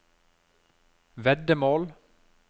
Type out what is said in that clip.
veddemål